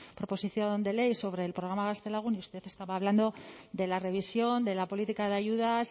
proposición de ley sobre el programa gaztelagun y usted estaba hablando de la revisión de la política de ayudas